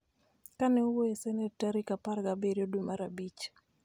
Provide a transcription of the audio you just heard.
Ka ne owuoyo e Senet tarik apar gi abiriyo dwe mar abich